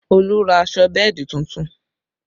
Olu ra aṣọ bẹ́ẹ̀dì tuntun